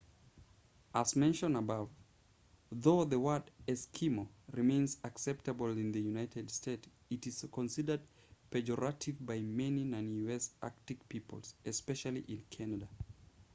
as mentioned above though the word eskimo remains acceptable in the united states it is considered pejorative by many non-u.s. arctic peoples especially in canada